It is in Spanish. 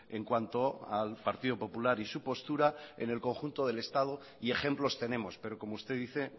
en cuanto al partido popular y su postura en el conjunto del estado y ejemplos tenemos pero como usted dice